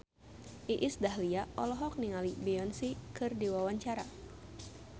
Iis Dahlia olohok ningali Beyonce keur diwawancara